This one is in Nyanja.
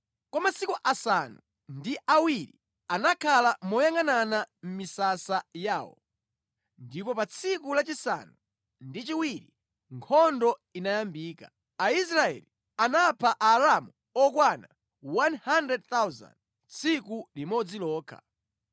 Kwa masiku asanu ndi awiri anakhala moyangʼanana mʼmisasa yawo, ndipo pa tsiku lachisanu ndi chiwiri nkhondo inayambika. Aisraeli anapha Aaramu okwana 100,000 tsiku limodzi lokha.